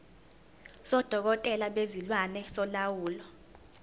sodokotela bezilwane solawulo